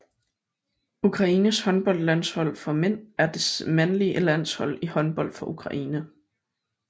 Ukraines håndboldlandshold for mænd er det mandlige landshold i håndbold for Ukraine